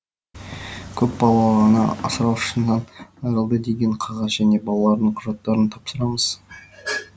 көпбалалы ана асыраушысынан айырылды деген қағаз және балалардың құжаттарын тапсырамыз